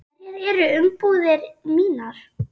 Hverjar eru umbúðir mínar?